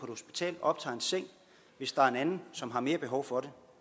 hospital og optager en seng hvis der er en anden som har mere behov for